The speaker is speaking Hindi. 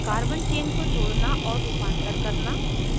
carbon chain को जोड़ना और रुपांतर करना